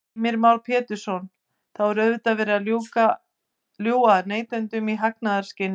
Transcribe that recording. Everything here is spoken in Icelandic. Heimir Már Pétursson: Þá er auðvitað verið að ljúga að neytendum í hagnaðarskyni?